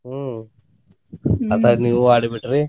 ಹ್ಮ್ ಅದ್ರಾಗ ನೀವು ಆಡಿಬಿಟ್ರಿ?